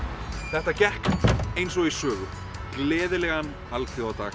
þetta gekk eins og í sögu gleðilegan alþjóðadag